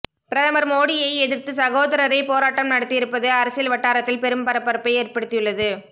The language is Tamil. பிரதமர் மோடியை எதிர்த்து சகோதரரே போராட்டம் நடத்தியிருப்பது அரசியல் வட்டாரத்தில் பெரும் பரபரப்பை ஏற்படுத்தியுள்ளது